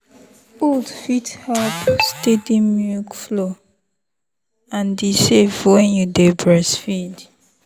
oats fit help steady milk flow and e safe when you dey breastfeed.